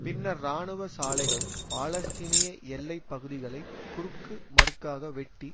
பின்னர் இராணுவ சாலைகள் பாலஸ்தீனிய எல்லை பகுதிகளை குறுக்கு மறுக்காக வெட்டி